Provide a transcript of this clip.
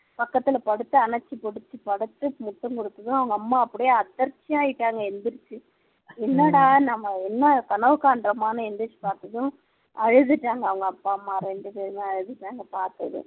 பக்கத்துல படுத்து அணைச்சு படுத்து படுத்து முத்தம் குடுத்ததும் அவங்க அம்மா அப்படியே அதிர்ச்சி ஆயிட்டாங்க எழுந்திரிச்சி என்னடா என்ன நாம கனவு காண்ரோமான்னு எழுந்திரிச்சு பார்த்ததும் அழுதுட்டாங்க அவங்க அப்பா அம்மா இரண்டுபேருமே அழுதுட்டாங்க பாத்ததும்